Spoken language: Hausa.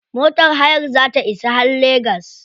Motar hayar za ta isa har legas.